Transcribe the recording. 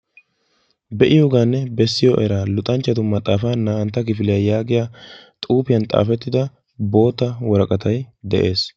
Be'iyooganne bessiyo era luxanchchatu maxaafa naa"antta kifiliya yaagiya xuufiyan xaafettida bootta woraqatay de'ees.